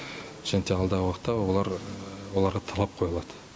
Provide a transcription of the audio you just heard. және те алдағы уақытта олар оларға талап қойылады